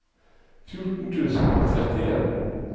fjorten tusen og trettien